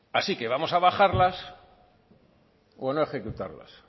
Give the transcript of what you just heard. así que vamos a bajarlas o no ejecutarlas